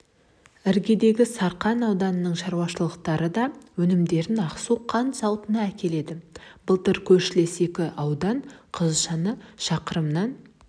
іргедегі сарқан ауданының шаруашылықтары да өнімдерін ақсу қант зауытына әкеледі былтыр көршілес екі аудан қызылшаны шақырымнан